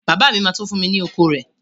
Bàbá mi ma tó fún mi ni oko rẹ